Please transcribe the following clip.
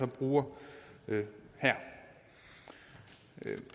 bruger her